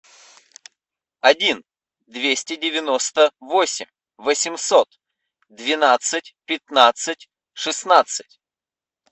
один двести девяносто восемь восемьсот двенадцать пятнадцать шестнадцать